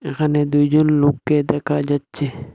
এখানে দুইজন লোককে দেখা যাচ্ছে।